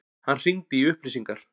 Hann hringdi í upplýsingar.